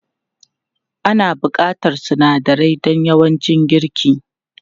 Ana buƙatar sunadarai don yawancin girki.